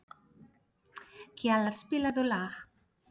Kjalar, spilaðu lag.